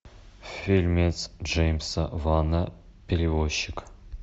фильмец джеймса вана перевозчик